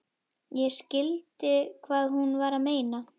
Ég skildi hvað hún var að meina.